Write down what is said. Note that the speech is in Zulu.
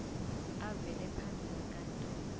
avele phambi kwenkantolo